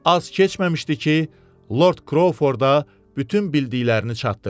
Az keçməmişdi ki, Lord Krouforda bütün bildiklərini çatdırdı.